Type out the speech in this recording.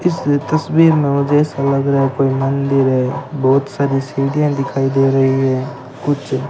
इसलिए तस्वीर में मुझे ऐसा लग रहा है कोई मंदिर है बहोत सारी सीढियां दिखाई दे रही है कुछ--